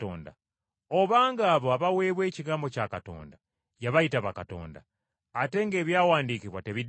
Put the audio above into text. Obanga abo abaweebwa ekigambo kya Katonda, yabayita bakatonda, ate ng’Ebyawandiikibwa tebidiba,